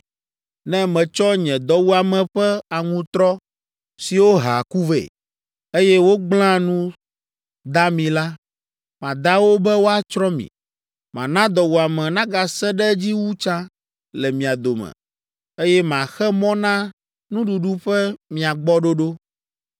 Ne metsɔ nye dɔwuame ƒe aŋutrɔ siwo hea ku vɛ, eye wogblẽa nu da mi la, mada wo be woatsrɔ̃ mi. Mana dɔwuame nagasẽ ɖe edzi wu tsã le mia dome, eye maxe mɔ na nuɖuɖu ƒe mia gbɔ ɖoɖo.